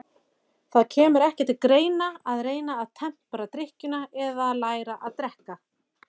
Það kemur ekki til greina að reyna að tempra drykkjuna eða læra að drekka.